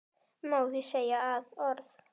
Má því segja að orð